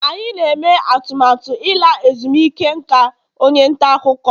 anyị na-eme atụmatụ ịla ezumike nka onye nta akụkọ